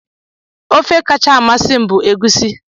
Ofe kacha amasị m bụ Egusi.